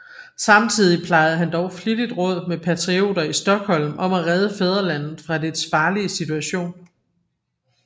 Samtidig plejede han dog flittigt råd med patrioter i Stockholm om at redde fædrelandet fra dets farlige situation